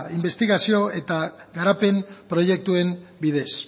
inbestigazio eta garapen proiektuen bidez